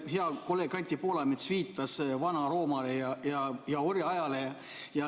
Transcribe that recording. Hea kolleeg Anti Poolamets viitas Vana-Roomale ja orjaajale.